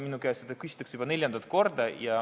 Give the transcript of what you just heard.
Minu käest küsitakse seda juba neljandat korda.